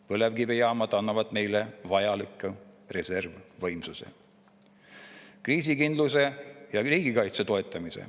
Põlevkivijaamad annavad meile vajaliku reservvõimsuse ja kriisikindluse ning toetavad riigikaitset.